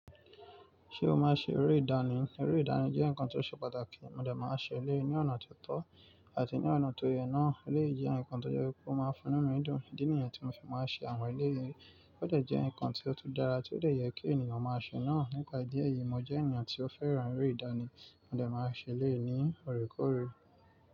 Ṣé o máa n ṣe eré ìdánì? Eré ìdánì jẹ́ nǹkan tó ṣe pàtàkì. Mó dẹ̀ máa n ṣe eléyii ní ọ̀nà tó tọ́ àti ní ọ̀nà tó yẹ náà. Élèyii jẹ́ ǹkan tó je wipé pé ó máa ń fi nú mí dùn. Ìdí nìyẹn tí mo fi máa n ṣe àwọn elé yii. Ó jẹ̀ jẹ́ ǹkan ti ó tún dara tí ó dè yẹ kí ènìyàn máa ṣe náà. Nípa idí eyìí, mo jẹ́ ènìyàn tí ó fẹ́ràn eré ìdánì. Mó dẹ̀ máa n ṣe eleyi ní òrékòóre.